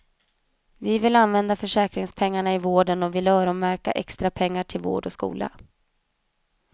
Vi vill använda försäkringspengar i vården och vi vill öronmärka extrapengarna till vård och skola.